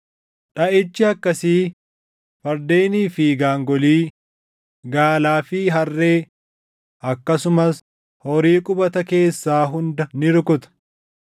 Dhaʼichi akkasii fardeenii fi gaangolii, gaalaa fi harree, akkasumas horii qubata keessaa hunda ni rukuta.